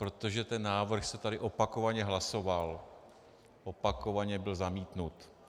Protože ten návrh se tady opakovaně hlasoval, opakovaně byl zamítnut.